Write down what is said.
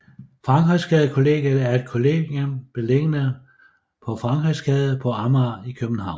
Frankrigsgade Kollegiet er et kollegium beliggende på Frankrigsgade på Amager i København